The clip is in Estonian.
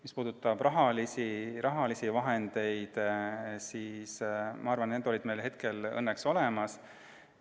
Mis puudutab rahalisi vahendeid, siis ma arvan, et need olid meil tol hetkel õnneks olemas.